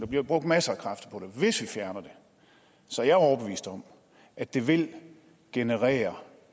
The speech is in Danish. jo brugt masser af kræfter på hvis vi fjerner det så er jeg overbevist om at det vil generere